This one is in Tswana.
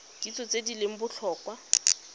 kitso tse di leng botlhokwa